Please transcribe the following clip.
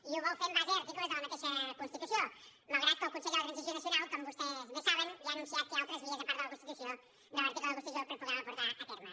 i ho vol fer en base a articles de la mateixa constitució malgrat que el consell de la transició nacional com vostès bé saben ja ha anunciat que hi ha altres vies a part de la constitució per poderla portar a terme